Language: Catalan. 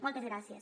moltes gràcies